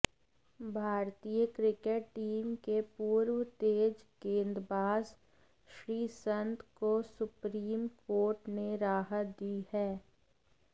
भारतीय cricket team के पूर्व तेज गेंदबाज़ श्रीसंत को सुप्रीम कोर्ट ने राहत दी है